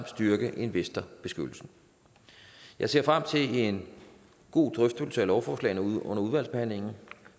styrke investorbeskyttelsen jeg ser frem til en god drøftelse af lovforslagene under udvalgsbehandlingen